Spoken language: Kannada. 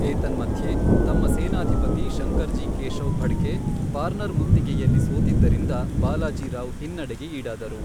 ಏತನ್ಮಧ್ಯೆ, ತಮ್ಮ ಸೇನಾಧಿಪತಿ ಶಂಕರ್ಜಿ ಕೇಶವ್ ಫಡ್ಕೆ ಪಾರ್ನರ್ ಮುತ್ತಿಗೆಯಲ್ಲಿ ಸೋತಿದ್ದರಿಂದ, ಬಾಲಾಜಿ ರಾವ್ ಹಿನ್ನಡೆಗೆ ಈಡಾದರು.